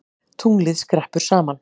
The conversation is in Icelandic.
Tunglið skreppur saman